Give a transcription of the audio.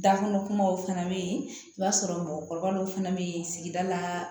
Dakɔnɔ kumaw fana bɛ yen i b'a sɔrɔ mɔgɔkɔrɔba dɔw fana bɛ yen sigida la